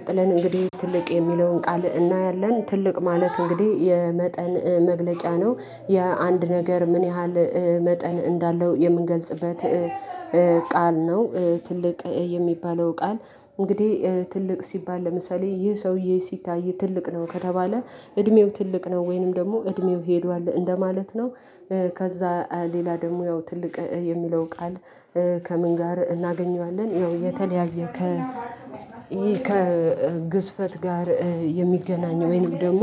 ቀጥለን እንግዲህ "ትልቅ" የሚለውን ቃል እናያለን። ትልቅ ማለት እንግዲህ የመጠን መግለጫ ነው የአንድ ነገር ምን ያህል መጠን እንዳለው የምንገልጽበት ቃል ነው። ትልቅ የሚባለው ቃል እንግዲህ ትልቅ ሲባል ለምሳሌ ይህ ሰውዬ ሲታይ ትልቅ ነው ከተባለ እድሜው ትልቅ ነው ወይንም ደግሞ እድሜው ሄዷል እንደማለት ነው ከዛ ሌላ ደግሞ ያው ትልቅ የሚለው ቃል ከምን ጋር እናገኘዋለን ያው የተለያየ ከ ከግዝፈት ጋር የሚገናኝ ወይንም ደግሞ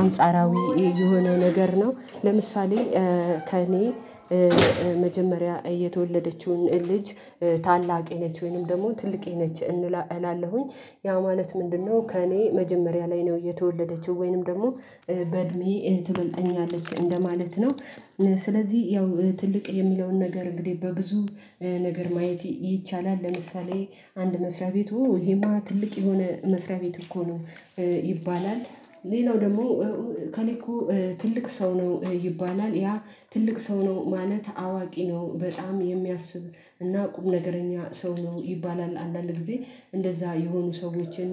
አንጻራዊ የሆነው ነገር ነው ለምሳሌ ከእኔ መጀመሪያ የተወለደችውን ልጅ ታላቄ ነች ወይንም ደግሞ ትልቄ ነች እላለሁኝ። ያ ማለት ምንድነው? ከእኔ መጀመሪያ ላይ ነው የተወለደችው ወይንም ደግሞ በእድሜ ትበልጠኛለች እንደማለት ነው ስለዚህ ያው ትልቅ የሚለውን ነገር እንግዲህ በብዙ ነገር ማየት ይቻላል ለምሳሌ አንድ መስሪያ ቤት ኦ ይሄማ ትልቅ የሆነ መስሪያ ቤት እኮ ነው ይባላል ሌላው ደግሞ እከሌ እኮ ትልቅ ሰው ነው ይባላል ያ ትልቅ ሰው ነው ማለት አዋቂ ነው በጣም የሚያስብ እና ቁም ነገረኛ ሰው ነው ይባላል። አንዳንድ ጊዜ እንደዛ የሆኑ ሰዎችን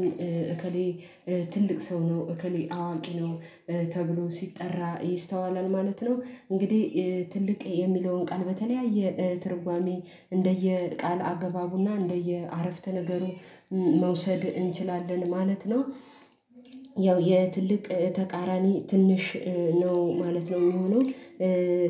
እከሌ ትልቅ ሰው ነው እከሌ አዋቂ ነው ተብሎ ሲጠራ ይስተዋላል ማለት ነው። እንግዲህ ትልቅ የሚለውን ቃል በተለያየ ትርጓሜ እንደየ ቃል አገባቡና እንደየ አረፍተ ነገሩ መውሰድ እንችላለን ማለት ነው። ያው የትልቅ ተቃራኒ ትንሽ ነው ማለት ነው የሚሆነው።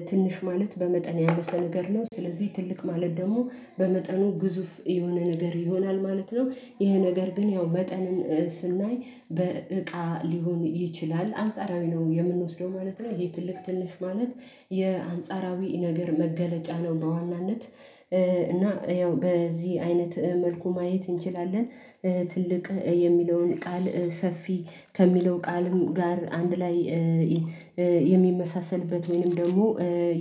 "ትንሽ" ማለት በመጠን ያነሰ ነገር ነው ስለዚህ "ትልቅ" ማለት ደግሞ በመጠኑ ግዙፍ የሆነ ነገር ይሆናል ማለት ነው ይሄ ነገር ግን ያው መጠንን ስናይ በእቃ ሊሆን ይችላል አንጻራዊ ነው የምንወስደው ማለት ነው ይሄ ትልቅ ትልሽ ማለት የአንጻራዊ ነገር መገለጫ ነው በዋናነት እና ያው በዚህ አይነት መልኩ ማየት እንችላለን ትልቅ የሚለውን ቃል ሰፊ ከሚለው ቃልም ጋር አንድ ላይ የሚመሳሰልበት ወይንም ደግሞ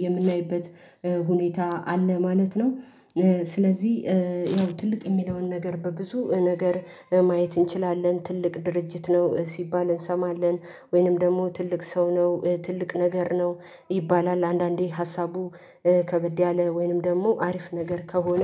የምናይበት ሁኔታ አለ ማለት ነው ስለዚህ ያው ትልቅ የሚለውን ነገር በብዙ ነገር ማየት እንችላለን ትልቅ ድርጅት ነው ሲባል እንሰማለን ወይንም ደግሞ ትልቅ ሰው ነው ትልቅ ነገር ነው ይባላል አንዳንዴ ሀሳቡ ከበድ ያለ ወይንም ደግሞ አሪፍ ነገር ከሆነ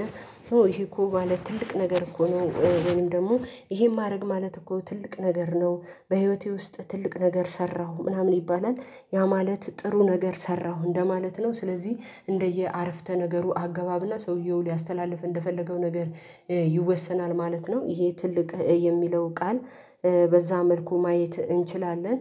ይሄ እኮ ማለት ትልቅ ነገር እኮ ነው ወይንም ደግሞ ይሄን ማድረግ ማለት እኮ ትልቅ ነገር ነው በህይወቴ ውስጥ ትልቅ ነገር ሰራሁ ምናምን ይባላል ያ ማለት ጥሩ ነገር ሰራሁ እንደማለት ነው ስለዚህ እንደየ አረፍተ ነገሩ አገባብና ሰውየው ሊያስተላልፍ እንደፈለገው ነገር ይወሰናል ማለት ነው ይሄ ትልቅ የሚለው ቃል በዛ መልኩ ማየት እንችላለን።